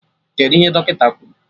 Kedụ ihe Dọkịta kwuru?